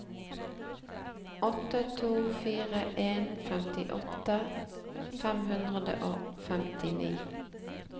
åtte to fire en femtiåtte fem hundre og femtini